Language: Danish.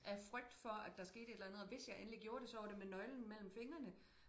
Af frygt for at der skete et eller andet og hvis jeg endelig gjorde det så var det med nøglen mellem fingrene